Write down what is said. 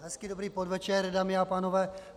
Hezký dobrý podvečer, dámy a pánové.